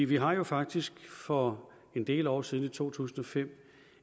vi har jo faktisk for en del år siden i to tusind og fem